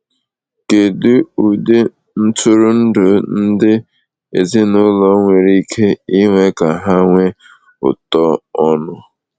Kedu ụdị ntụrụndụ ndị ezinụlọ nwere ike ịnwe ka ha nwee ụtọ ọnụ?